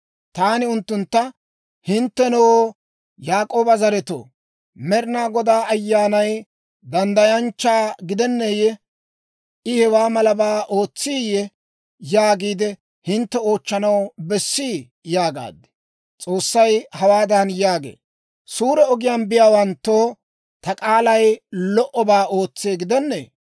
Taani unttuntta, «Hinttenoo Yaak'ooba zaretoo, ‹Med'ina Godaa Ayyaanay danddayanchchaa gidenneeyye? I hewaa malabaa ootsiiyye?› yaagiide hintte oochchanaw bessii?» yaagaad. S'oossay hawaadan yaagee; «Suure ogiyaan biyaawanttoo ta k'aalay lo"obaa ootsee gidennee?